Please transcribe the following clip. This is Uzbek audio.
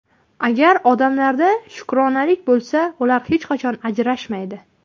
Agar odamlarda shukronalik bo‘lsa, ular hech qachon ajrashmaydi.